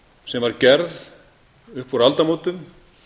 sem var gerð upp úr aldamótum